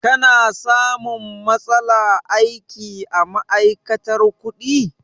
Ka na samun matsala aiki a ma'aikatar kuɗi?